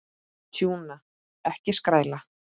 Tjúna, ekki skræla.